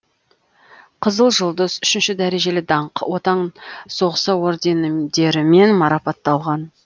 қызыл жұлдыз үшінші дәрежелі даңқ отан соғысы орденідерімен марапатталған